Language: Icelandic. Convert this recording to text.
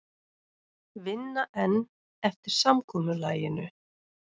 Vinna enn eftir samkomulaginu